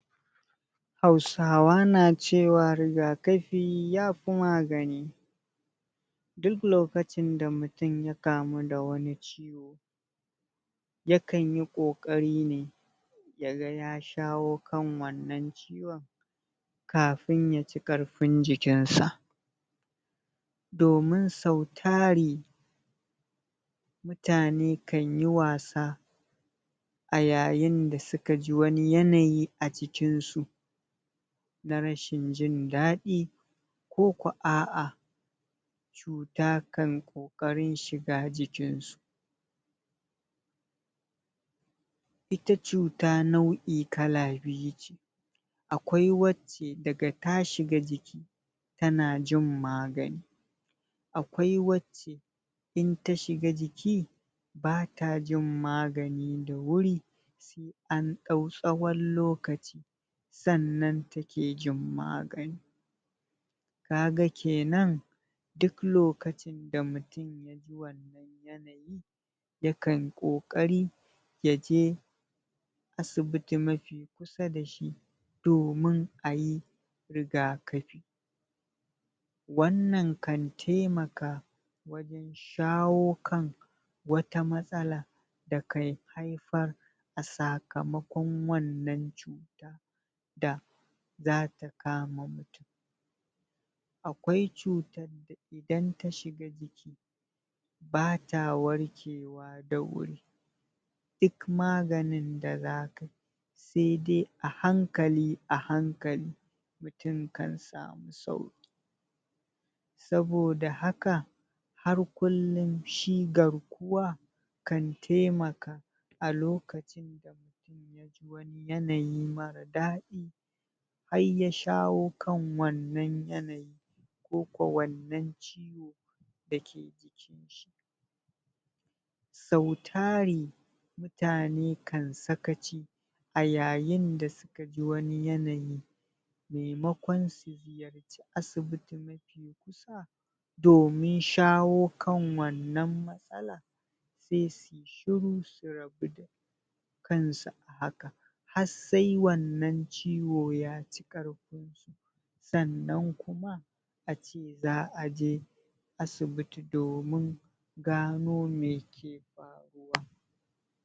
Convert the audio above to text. Hausawa nacewa rigakafi yafi magana Duk lokacin da mutum ya kamu da wani ciwo Yakan yi kokari ne Yaga ya shawo kan wannan ciwon! Kafin yaci karfin jikin sa Domin sau tari Mutane kanyi wasa A yayin da sukaji wani yanayi a jikin su Na rashin jin daɗi Koko aa, Cuta kan koƙari shiga jikinsu Ita cuta nau'i kala biyu ce, Akwai wacce daga tashiga jiki Tana jin magani Akwai wacce Inta shiga jiki! Bata jin magani da wuri An dau tsawon lokaci Sannan take jin magani Kaga kenan Duk lokacin da mutum yaji wannan yanayi, Yakan koƙari Yaje Asibiti mafi kusa dashi Domin ayi Rigakafi Wannan kan taimaka Shawo kan Wata matsala Da kan haifar, A sakamakon wannan cuta Da, Zata kama mutum Akwai cutar da idan tashiga jiki Bata warkewa da wuri Duk maganin da zakai Sai'dai ahankali a hankali Mutum kan samu sauki Saboda haka Har kullum shi garkuwa, Kan taimaka A lokacin da mutum yaji wani Yanayi marar daɗi Harya shawo kan wannan yanayi Koko wannan ciwo Dake, jikinshi Sau tari, Mutane kan sakaci A yayin da sukaji wani yanayi Maimakon su zuyarci asibiti mafi kusa! Domin shawo kan wannan matsala Sai suyi shiru su rabu da Kansu a haka Har sae wannan ciwo yaci karfin su Sannan kuma Ace za'aje Asibiti domin Gano meke faruwa